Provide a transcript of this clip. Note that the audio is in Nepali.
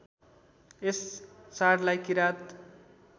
यस चाडलाई किरात